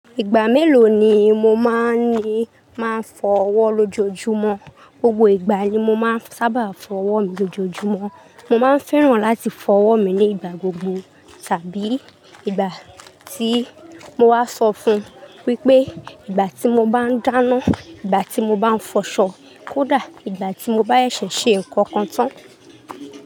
Ìgbà mélòó ni mo máa ń ní máa ń fọ ọwọ́ lójoojúmọ́? Gbogbo ìgbà ni mo máa ń sábà fọ ọwọ́ mi lójoojúmọ́. Mo máa ń fẹ́ràn láti fọ ọwọ́ mi ní ìgbà gbogbo tàbí ìgbà tí mo wá sọ fún un wípé ìgbà tí mo bá ń dáná, ìgbà tí mo bá ń fọṣọ, kódà ìgbà tí mo bá ṣẹ̀ṣẹ̀ ṣe nǹkan kan tán.